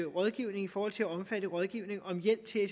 rådgivning i forhold til at omfatte rådgivning om hjælp til at